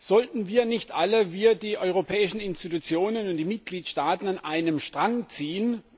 Sollten wir nicht alle wir, die europäischen Institutionen und die Mitgliedstaaten an einem Strang ziehen?